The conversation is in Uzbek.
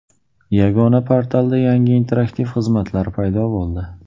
Yagona portalda yangi interaktiv xizmatlar paydo bo‘ldi.